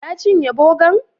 Ya cinye bogan?